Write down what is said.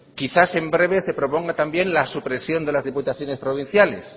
quizás en breve se proponga también la supresión de las diputaciones provinciales